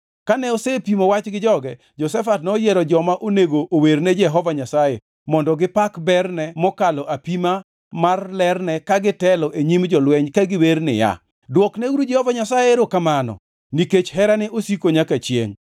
Kane osepimo wach gi joge, Jehoshafat noyiero joma onego owerne Jehova Nyasaye mondo gipak berne mokalo apima mar lerne ka gitelo e nyim jolweny ka giwer niya, “Dwokneuru Jehova Nyasaye erokamano, nikech herane osiko nyaka chiengʼ.”